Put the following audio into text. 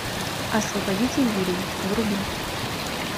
освободите вилли вруби